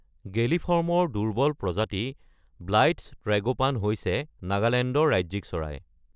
গেলিফৰ্মৰ দুৰ্বল প্ৰজাতি Blyth's tragopan হৈছে নাগালেণ্ডৰ ৰাজ্যিক চৰাই।